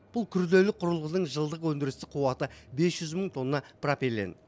бұл күрделі құрылғының жылдық өндірістік қуаты бес мың тонна пропилен